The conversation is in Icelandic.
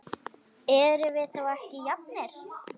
Erum við þá ekki jafnir?